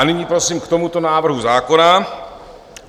A nyní prosím k tomuto návrhu zákona.